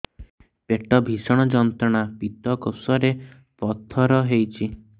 ପେଟ ଭୀଷଣ ଯନ୍ତ୍ରଣା ପିତକୋଷ ରେ ପଥର ହେଇଚି